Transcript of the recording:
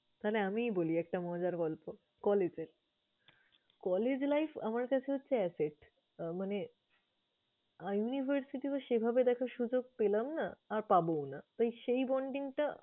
তাহলে আমিই বলি একটা মজার গল্প collage এর। Collage life আমার কাছে হচ্ছে asset । মানে university তো সেভাবে দেখার সুযোগ পেলাম না আর পাবোও না। তো, সেই bonding টা